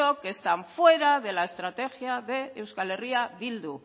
que están fuera de la estrategia de euskal herria bildu